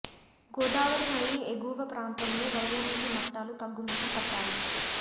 గోదావరి నది ఎగువ ప్రాంతంలో వరద నీటి మట్టాలు తగ్గు ముఖం పట్టాయి